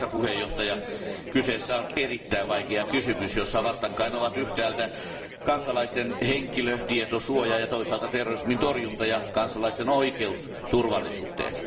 Arvoisa puhemies, kyseessä on erittäin vaikea kysymys, jossa vastakkain ovat yhtäältä kansalaisten henkilötietosuoja ja toisaalta terrorismin torjunta ja kansalaisten oikeus turvallisuuteen.